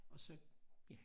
Og så ja